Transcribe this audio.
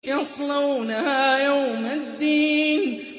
يَصْلَوْنَهَا يَوْمَ الدِّينِ